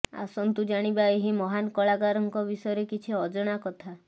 ଆସନ୍ତୁ ଜାଣିବା ଏହି ମହାନ କଳାକାରଙ୍କ ବିଷୟରେ କିଛି ଅଜଣା କଥା